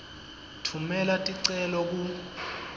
tfumela ticelo ku